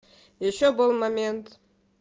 ещё был момент